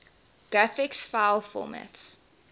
graphics file formats